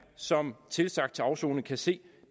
som tilsagt til afsoning kan se